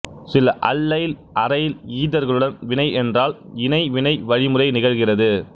சில allyl aryl ஈதர்களுடன் வினை என்றால் இணை வினை வழிமுறை நிகழ்கிறது